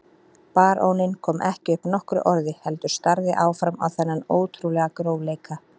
Baróninn kom ekki upp nokkru orði heldur starði áfram á þennan ótrúlega grófleika.